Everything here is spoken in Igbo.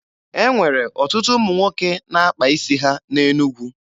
E nwere ọtụtụ ụmụ nwoke na-akpa isi ha na Enugwu.